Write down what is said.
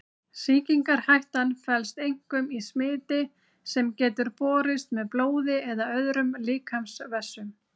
Sýkingarhættan felst einkum í smiti sem getur borist með blóði eða öðrum líkamsvessum.